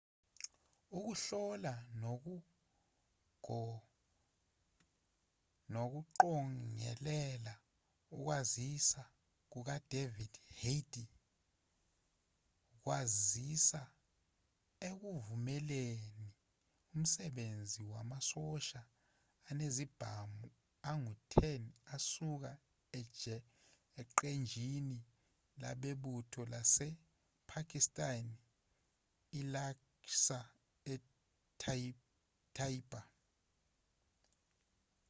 ukuhlola nokuqongelela ukwaziswa kukadavid headley kwasiza ekuvumeleni umsebenzi wamasosha anezibhamu angu-10 asuka eqenjini lebutho lasepakistan ilaskhar-e-taiba